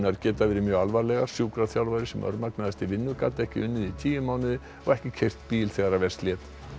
geta verið mjög alvarlegar sjúkraþjálfari sem örmagnaðist í vinnu gat ekki unnið í tíu mánuði og ekki keyrt bíl þegar verst lét